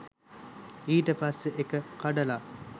ඊට පස්සෙ ඒක කඩල